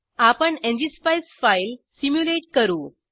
आपण NGSpice file simulate करू